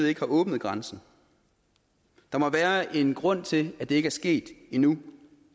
ikke har åbnet grænsen der må være en grund til at det ikke er sket endnu